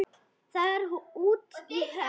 Það er út í hött.